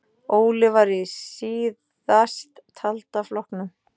Óli var í síðasttalda flokknum.